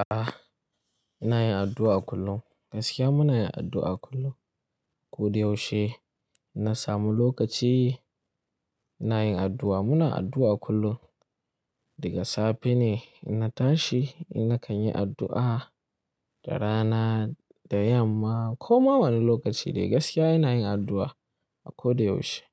A'a, ina yin addu'a kullum. Gaskiya muna yin addu'a kullum. Ko da yaushe na samu lokaci ina yin addu'a. Muna addu'a kullum. Daga safe ne ina tashi nakan yi addu'a, da rana, da yamma ko ma wani lokaci dai. Gaskiya ina yin addu'a a ko da yaushe.